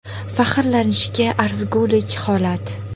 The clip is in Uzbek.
Faxrlanishga arzigulik holat.